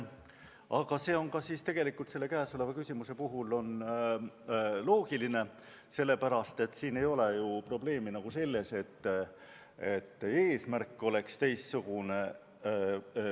Aga see on kõnealuse küsimuse puhul ka loogiline, sest siin ei ole ju probleem selles, et eesmärk oleks teistsugune.